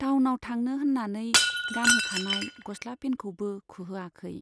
टाउनाव थांनो होन्नानै गानहोखानाय गस्ला पेनखौबो खुहोआखै।